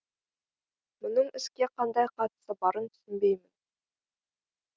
мұның іске қандай қатысы барын түсінбеймін